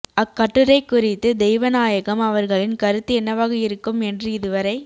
அக்கட்டுரைக் குறித்து தெய்வநாயகம் அவர்களின் கருத்து என்னவாக இருக்கும் என்று இதுவரை